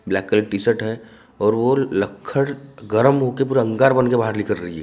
Black colour T shirt हैं और वो लक्कड़ गरम होकर पूरा अंगार बनके बाहर निकल रही है।